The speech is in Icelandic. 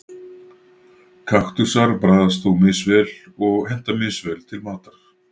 Kaktusar bragðast þó misvel og henta misvel til matar.